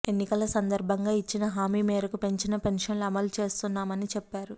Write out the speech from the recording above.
ఎన్నికల సందర్భంగా ఇచ్చిన హామీ మేరకు పెంచిన పెన్షన్లు అమలు చేస్తున్నామని చెప్పారు